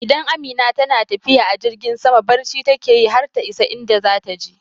Idan Amina tana tafiya a jirgin sama barci take yi har ta isa inda zata je